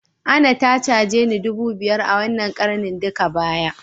Anah ta cageni dubu biyar a wanna karanin duka baya.